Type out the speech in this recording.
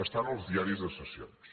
està en els diaris de sessions